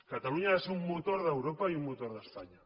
catalunya ha de ser un motor d’europa i un motor d’espanya